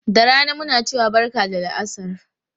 Da rana muna cewa barka da la'asar.